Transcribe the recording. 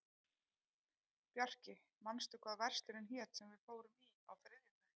Bjarki, manstu hvað verslunin hét sem við fórum í á þriðjudaginn?